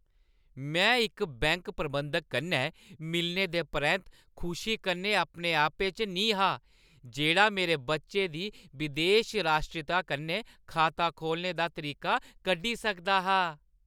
में इक बैंक प्रबंधक कन्नै मिलने दे परैंत्त खुशी कन्नै अपने आपै च निं हा जेह्ड़ा मेरे बच्चे दी बदेशी राश्ट्रीता कन्नै खाता खोह्‌लने दा तरीका कड्ढी सकदा हा।